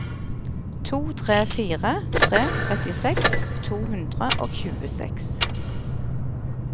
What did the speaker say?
to tre fire tre trettiseks to hundre og tjueseks